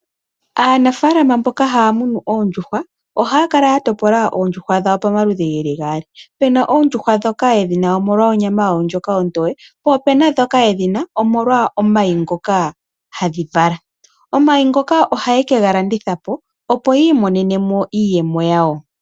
Aanafaalama mboka haya munu oondjuhwa, ohaya kala ya topola oondjuhwa dhawo pamaludhi ge li gaali. Opu na oondjuhwa ndhoka ye dhi na omolwa onyama yadho ndjoka ontoye, po opuna ndhoka yedhi na omolwa omayi ngoka hadhi vala. Omayi ngaka ohaye ke ga landitha po opo yi imonene sha shomondjato.